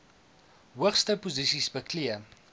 hoogste posisies beklee